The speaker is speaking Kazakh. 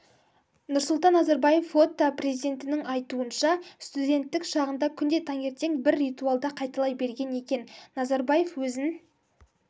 нұрсұлтан назарбаев фото президенттің айтуынша студенттік шағында күнде таңертең бір ритуалды қайталай берген екен назарбаев өзін